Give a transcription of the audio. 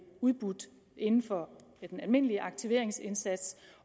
udbudt inden for den almindelige aktiveringsindsats